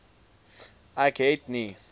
ek het nie